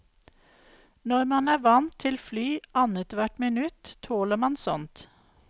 Når man er vant til fly annethvert minutt, tåler man sånt.